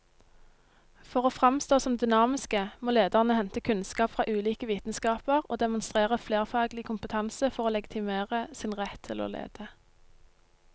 For å framstå som dynamiske må lederne hente kunnskap fra ulike vitenskaper og demonstrere flerfaglig kompetanse for å legitimere sin rett til å lede.